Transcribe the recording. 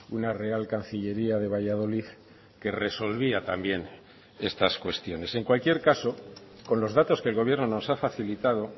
una real cancillería de valladolid que resolvía también estas cuestiones en cualquier caso con los datos que el gobierno nos ha facilitado